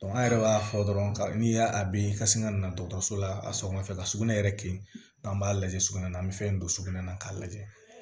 an yɛrɛ b'a fɔ dɔrɔn ka n'i y'a a be ka sin ka na dɔgɔtɔrɔso la a sɔgɔma fɛ ka sugunɛ yɛrɛ kin n'an b'a lajɛ sugunɛ na an bɛ fɛn don sugunɛ na k'a lajɛ